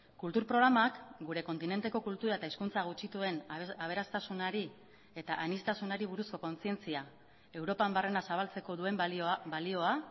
kultur programak gure kontinenteko kultura eta hizkuntza gutxituen aberastasunari eta aniztasunari buruzko kontzientzia europan barrena zabaltzeko duen balioa